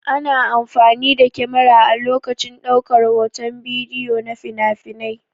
Ana amfani da kyamara a lokacin ɗaukar hoton bidiyo na finafinai.